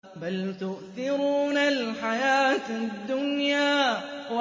بَلْ تُؤْثِرُونَ الْحَيَاةَ الدُّنْيَا